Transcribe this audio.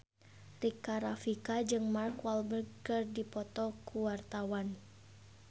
Rika Rafika jeung Mark Walberg keur dipoto ku wartawan